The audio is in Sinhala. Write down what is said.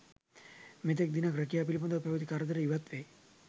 මෙතෙක් දිනක් රැකියා පිළිබඳව පැවති කරදර ඉවත් වෙයි.